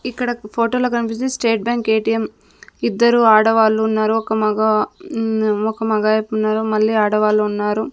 ఇక్కడక్ ఫోటోలో కనిపిస్తుంది state bank ATM ఇద్దరు ఆడవాళ్ళు ఉన్నారు ఒక మగ మ్మ్ ఒక మగాయపున్నారు మళ్ళీ ఆడవాళ్లు ఉన్నారు.